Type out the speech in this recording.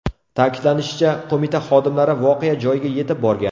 Ta’kidlanishicha, qo‘mita xodimlari voqea joyiga yetib borgan.